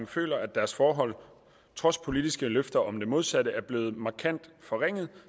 føler at deres forhold trods politiske løfter om det modsatte er blevet markant forringet